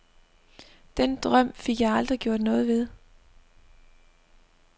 Den drøm fik jeg aldrig gjort noget ved.